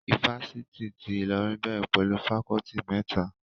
Ifásitì ti Ìlọrin bẹ̀rẹ̀ pẹ̀lú fakọọti mẹ́ta